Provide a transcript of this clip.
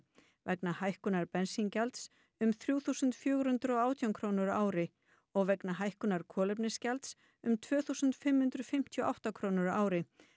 vegna hækkunar bensíngjalds um þrjú þúsund og fjögur hundruð og átján krónur á ári og vegna hækkunar kolefnisgjalds um tvö þúsund og fimm hundruð fimmtíu og átta krónur á ári